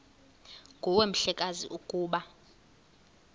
nguwe mhlekazi ukuba